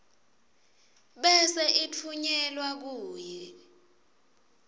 bese itfunyelwa kuwe